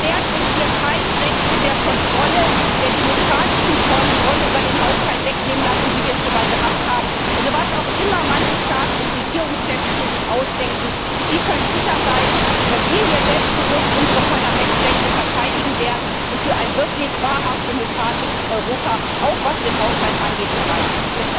Wir werden uns keine Rechte der demokratischen Kontrolle über den Haushalt wegnehmen lassen, wie wir es schon mal gehabt haben. Was auch immer manche Staats und Regierungschefs sich ausdenken Sie können sicher sein, dass wir hier selbstbewusst unsere Rechte als Parlament verteidigen und für ein wirklich und wahrhaft demokratisches Europa, auch was den Haushalt angeht, streiten